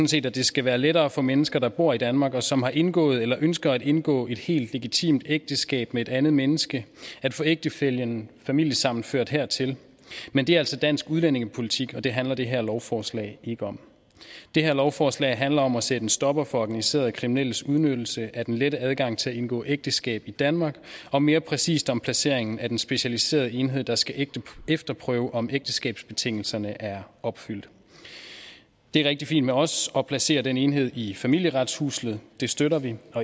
set at det skal være lettere for mennesker der bor i danmark og som har indgået eller ønsker at indgå et helt legitimt ægteskab med et andet menneske at få ægtefællen familiesammenført hertil men det er altså dansk udlændingepolitik og det handler det her lovforslag ikke om det her lovforslag handler om at sætte en stopper for organiserede kriminelles udnyttelse af den lette adgang til at indgå ægteskab i danmark og mere præcist om placeringen af den specialiserede enhed der skal efterprøve om ægteskabsbetingelserne er opfyldt det er rigtig fint med os at placere den enhed i familieretshuset det støtter vi